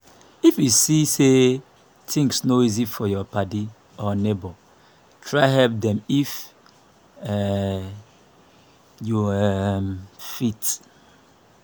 if yu see say tins no easy for yur padi or neibor try help dem if um yu um fit